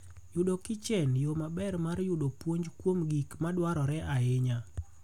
Neno Kichen yo maber mar yudo puonj kuom gik madwarore ahinya.